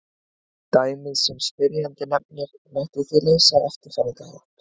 Dæmið sem spyrjandi nefnir mætti því leysa á eftirfarandi hátt.